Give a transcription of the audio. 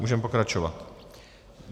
Můžeme pokračovat.